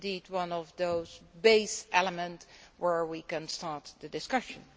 one of those base elements where we can start the discussion.